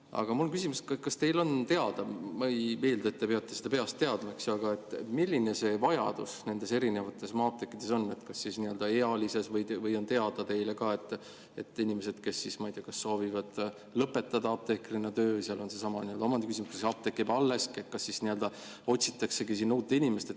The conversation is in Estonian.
Aga mul on küsimus, kas teile on teada – ma ei eelda, et te peate seda peast teadma –, milline see vajadus erinevates maa-apteekides on, näiteks ealises mõttes, või kas on teile teada inimesi, kes soovivad lõpetada töö apteekrina, ja seal on seesama omandiküsimus, et kas apteek jääb alles, ja siis otsitaksegi sinna uut inimest.